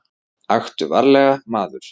Aktu varlega, maður.